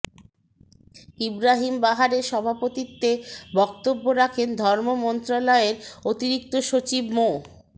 ইব্রাহীম বাহারের সভাপতিত্বে বক্তব্য রাখেন ধর্ম মন্ত্রণালয়ের অতিরিক্ত সচিব মো